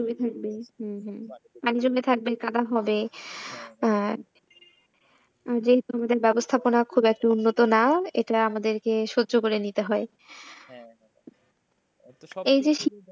ভিজে থাকবে হম হম মানে পানি জমে থাকবে কাদা হবে। আর যেহেতু ব্যবস্থাপনা খুব একটা উন্নত না এটা আমাদেরকে সহ্যকরে নিতে হয়। এই যে,